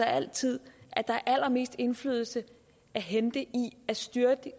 altid er allermest indflydelse at hente i at styrke de